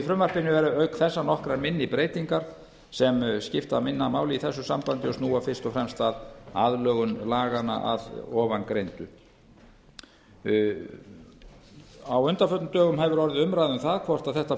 í frumvarpinu eru auk þessara nokkrar minni breytingar sem skipta minna máli í þessu sambandi og snúa fyrst og fremst að aðlögun laganna að ofangreindu á undanförnum dögum hefur orðið umræða um það hvort þetta